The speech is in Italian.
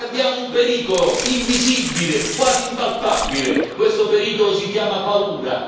Noi abbiamo un pericolo invisibile, quasi impalpabile questo pericolo si chiama paura.